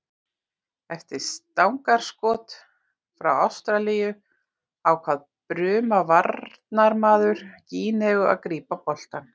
Eftir stangarskot hjá Ástralíu ákvað Bruna varnarmaður Gíneu að grípa boltann.